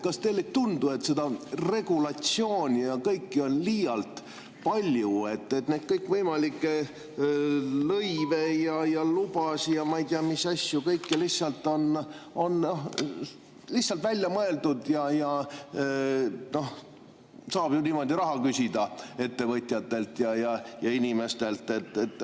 Kas teile ei tundu, et seda regulatsiooni ja kõike on liialt palju, kõikvõimalikke lõive ja lubasid ja ma ei tea, mis asju on lihtsalt välja mõeldud, sest niimoodi saab ju raha küsida ettevõtjatelt ja inimestelt?